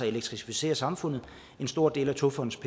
elektrificere samfundet en stor del af togfonden